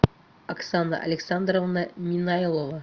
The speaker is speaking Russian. оксана александровна минайлова